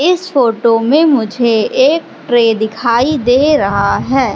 इस फोटो में मुझे एक ट्रे दिखाई दे रहा है।